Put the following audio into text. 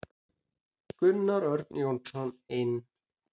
Gunnar Örn Jónsson inn.